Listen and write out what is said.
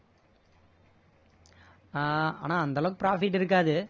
ஆஹ் ஆனா அந்த அளவுக்கு profit இருக்காது